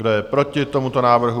Kdo je proti tomuto návrhu?